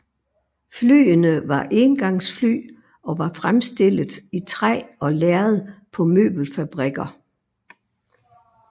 Flyene var éngangsfly og var fremstillet i træ og lærred på møbelfabrikker